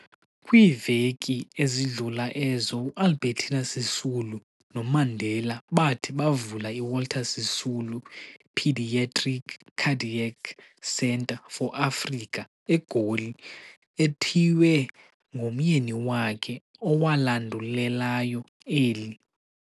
Kwiiveki ezidlula ezo, uAlbertina Sisulu noMandela bathi bavula iWalter Sisulu Peadiatric Cardiac Centre for Africa, eGoli, ethiywe ngomyeni wakhe owalandulelayo eli.